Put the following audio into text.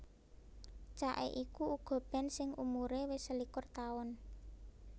Cake iku uga band sing umuré wis selikur taun